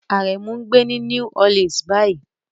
Aremu ń gbé ní New Orleans báyìí.